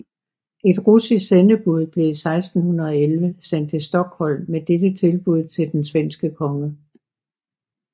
Et russisk sendebud blev i 1611 sendt til Stockholm med dette tilbud til den svenske konge